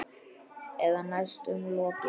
Eða næstum lokið.